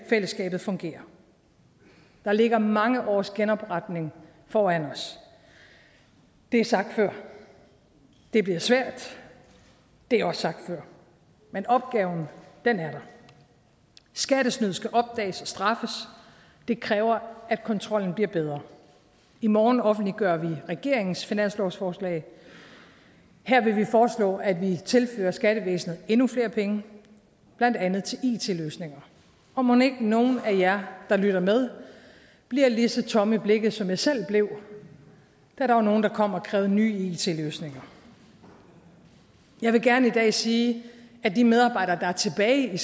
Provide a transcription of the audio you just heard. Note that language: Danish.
fællesskabet fungerer der ligger mange års genopretning foran os det er sagt før det bliver svært det er også sagt før men opgaven er der skattesnyd skal opdages og straffes det kræver at kontrollen bliver bedre i morgen offentliggør vi regeringens finanslovsforslag her vil vi foreslå at vi tilfører skattevæsenet endnu flere penge blandt andet til it løsninger og mon ikke nogle af jer der lytter med bliver lige så tomme i blikket som jeg selv blev da der var nogle der kom og krævede nye it løsninger jeg vil gerne i dag sige at de medarbejdere der er tilbage i